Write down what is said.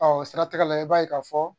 o siratigɛ la i b'a ye k'a fɔ